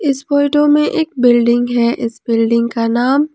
इस फोटो में एक बिल्डिंग है इस बिल्डिंग का नाम--